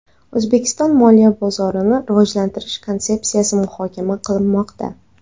O‘zbekiston Moliya bozorini rivojlantirish konsepsiyasi muhokama qilinmoqda.